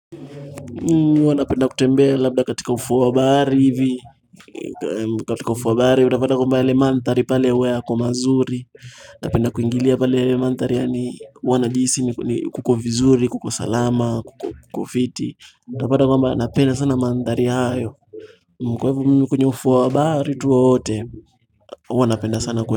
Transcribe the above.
Huwa napenda kutembea labda katika ufuo wa bahari hivi katika ufuo wa bahari unapata kwamba yale manthari pale huwa yako mazuri napenda kuingilia pale yale manthari ni huwa najihisi kuko vizuri kuko salama kuko fiti utapata kwamba napenda sana manthari hayo Kwa hivyo mimi kwenye ufuo wa bahari tu wowote huwa napenda sana kwenye.